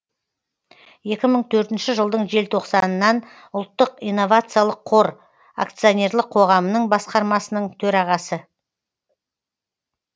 екі мың төртінші жылдың желтоқсанынан ұлттық инновациялық қор ационерлік қоғамының басқармасының төрағасы